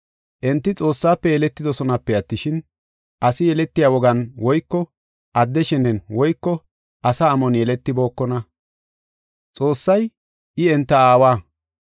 Enti Xoossafe yeletidosonape attishin, asi yeletiya wogan woyko adde shenen woyko asa amon yeletibookona. Xoossay I enta aawa.